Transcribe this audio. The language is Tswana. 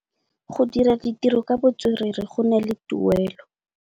Go dira ditirô ka botswerere go na le tuelô.